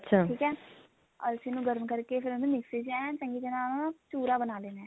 ਠੀਕ ਐ ਅਲਸੀ ਨੂੰ ਗਰਮ ਕਰਕੇ ਫੇਰ ਉਹਨੂੰ ਮਿਕਸੀ ਚ ਐਨ ਚੰਗੀ ਤਰ੍ਹਾਂ ਚੁਰਾ ਬਣਾ ਲੈਣਾ